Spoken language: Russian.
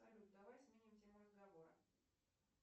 салют давай сменим тему разговора